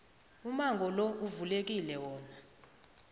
umango lo uvulekile wona